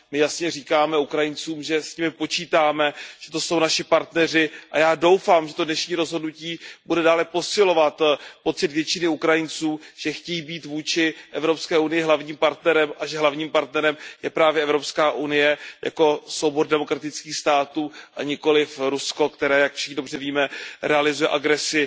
My jasně říkáme Ukrajincům, že s nimi počítáme, že to jsou naši partneři, a já doufám, že to dnešní rozhodnutí bude dále posilovat pocit většiny Ukrajinců, že chtějí být vůči Evropské unii hlavním partnerem a že hlavním partnerem je právě Evropská unie jako soubor demokratických států, a nikoliv Rusko, které jak všichni dobře víme realizuje agresi